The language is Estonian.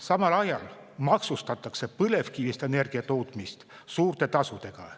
Samal ajal maksustatakse põlevkivist energia tootmist suurte tasudega.